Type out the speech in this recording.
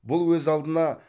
бұл өз алдына